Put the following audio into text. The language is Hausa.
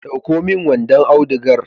Ɗauko min wanon audigar.